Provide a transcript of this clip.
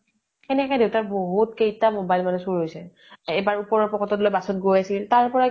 সেনেকে দেউতা ৰ বহুত কেইতা mobile মানে চোৰ হৈছে । এবাৰ ওপৰ ৰ pocket লৈ bus ত গৈ আছিল । তাৰ পৰাই